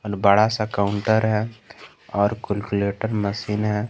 बड़ा सा काउंटर है और कलकुलेटर मशीन है।